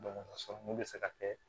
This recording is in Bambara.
bɛ se ka kɛ